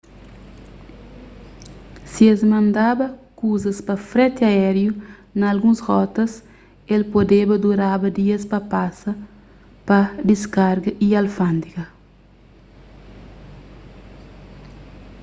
si es mandaba kuzas pa freti aériu na alguns rotas el podeba duraba dias pa pasa pa diskarga y alfándega